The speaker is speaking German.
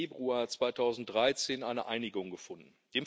8. Februar 2013 eine Einigung gefunden.